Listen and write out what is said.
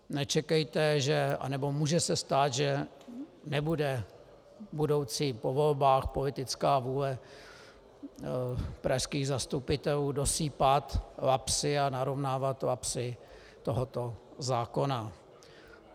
Nečekejte, anebo může se stát, že nebude budoucí po volbách politická vůle pražských zastupitelů dosýpat lapsy a narovnávat lapsy tohoto zákona.